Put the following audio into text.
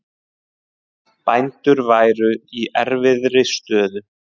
Bændur væru í erfiðri stöðu